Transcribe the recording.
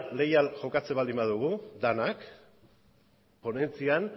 leial jokatzen baldin badugu denak ponentzian